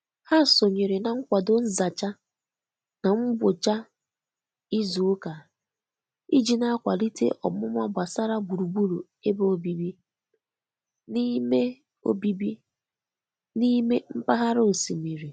Ha sonyere na nkwado nzacha na mgbocha izu uka iji na-akwalite omuma gbasara gburugburu ebe obibi n'ime obibi n'ime mpaghara osimiri.